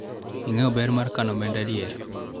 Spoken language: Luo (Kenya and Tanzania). ing'eyo ber mar kano omenda adier ?